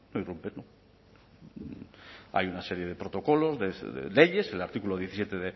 irrumpir no hay una serie de protocolos de leyes el artículo diecisiete